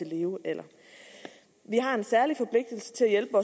levealderen vi har en særlig forpligtelse til at hjælpe